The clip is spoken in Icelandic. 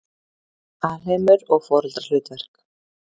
Alheimur og foreldrahlutverk